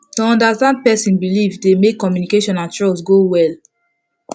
to understand person belief dey make communication and trust go well